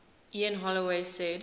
ian holloway said